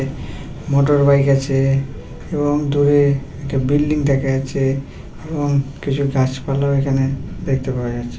Motorbike আছে এবং দূরে একটা বিল্ডিং দেখা যাচ্ছে | এবং কিছু গাছপালাও এখানে দেখতে পাওয়া যাচ্ছে।